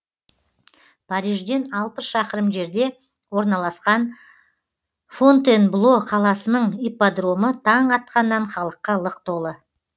парижден алпыс шақырым жерде орналасқан фонтенбло қаласының ипподромы таң атқаннан халыққа лық толы